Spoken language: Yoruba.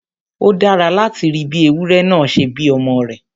Ó dára láti rí bí ewúrẹ náà ṣe bí ọmọ rẹ̀